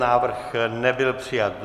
Návrh nebyl přijat.